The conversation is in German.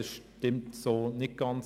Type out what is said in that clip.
Das stimmt so nicht ganz.